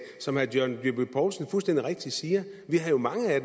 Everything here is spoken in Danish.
som herre john dyrby paulsen fuldstændig rigtigt siger vi havde mange af